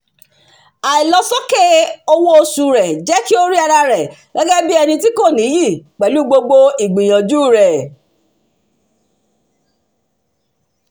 àìlọsókè owó oṣù rẹ̀ jẹ́ kí ó rí ara rẹ̀ bí ẹni tí kò níyì pẹ̀lú gbogbo ìgbìyànjú rẹ̀